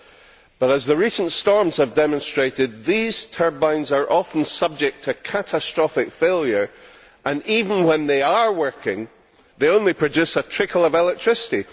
However, as the recent storms have demonstrated, these turbines are often subject to catastrophic failure, and even when they are working, they only produce a trickle of electricity.